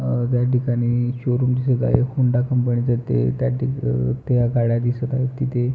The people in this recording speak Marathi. अ त्या ठिकाणी शोरूम दिसत आहे होंडा कंपनी च ते त्या ठिकाणी त्या गाड्या दिसत आहेत तिथे.